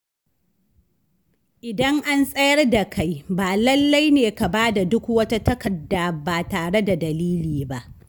Idan an tsayar da kai, ba lallai ne ka bada duk wata takarda ba tare da dalili ba.